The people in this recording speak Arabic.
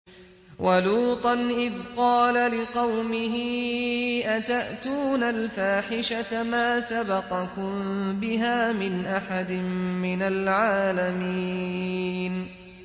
وَلُوطًا إِذْ قَالَ لِقَوْمِهِ أَتَأْتُونَ الْفَاحِشَةَ مَا سَبَقَكُم بِهَا مِنْ أَحَدٍ مِّنَ الْعَالَمِينَ